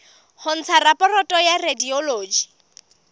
ho ntsha raporoto ya radiology